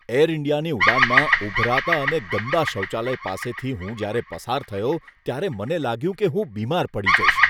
Air ઈન્ડિયાની ઉડાનમાં ઊભરાતા અને ગંદા શૌચાલય પાસેથી હું જ્યારે પસાર થયો ત્યારે મને લાગ્યું કે હું બીમાર પડી જઈશ.